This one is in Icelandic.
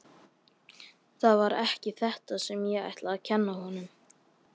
Það var ekki þetta sem ég ætlaði að kenna honum.